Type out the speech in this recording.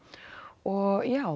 og já